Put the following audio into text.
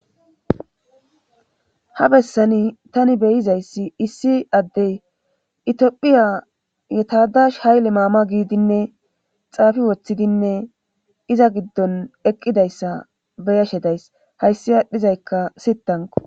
Ha bessani tani beyizayssi issi addey itiophiya yetadash hayle maama giidinne xaafi woththidinne iza giddon eqqidayssa beyashe days hayssi aadhdhizaykka sittanko